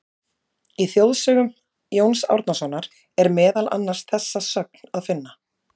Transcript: Í Þjóðsögum Jóns Árnasonar er meðal annars þessa sögn að finna: